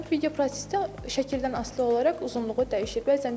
Video prosesdə şəkildən asılı olaraq uzunluğu dəyişir.